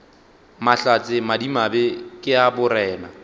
mahlatse madimabe ke a borena